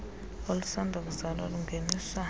olusanda kuzalwa lungeniswa